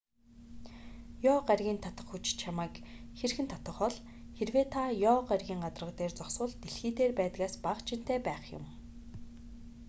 ёо гарагийн татах хүч чамайг хэрхэн татах бол хэрэв та ёо гарагийн гадарга дээр зогсвол дэлхий дээр байдгаас бага жинтэй байх юм